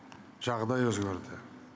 жағдай өзгерді